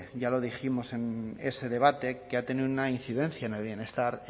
ya lo dijimos en ese debate que ha tenido una incidencia en el bienestar